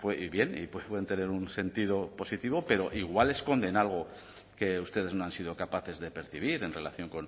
y bien y pueden tener un sentido positivo pero igual esconden algo que ustedes no han sido capaces de percibir en relación